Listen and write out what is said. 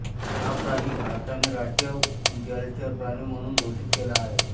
हा प्राणी भारताने राष्ट्रीय जलचर प्राणी म्हणून घोषित केला आहे